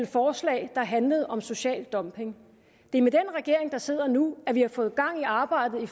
forslag der handlede om social dumping det er med den regering der sidder nu at vi har fået gang i arbejdet